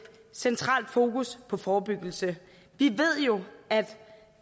centralt fokus på forebyggelse vi ved jo